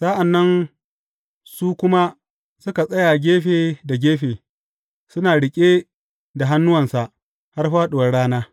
Sa’an nan su kuma suka tsaya gefe da gefe, suna riƙe da hannuwansa har fāɗuwar rana.